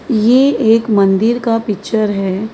यह एक मंदिर का पिक्चर है।